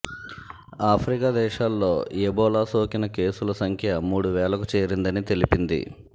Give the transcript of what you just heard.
Africa దేశాల్లో Ebola సోకిన కేసుల సంఖ్య మూడు వేలకు చేరిందని తెలిపింది